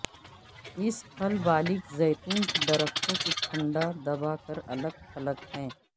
اس پھل بالغ زیتون کے درختوں کے ٹھنڈا دبا کر الگ تھلگ ہے